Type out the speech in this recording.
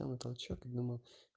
я на толчок и думал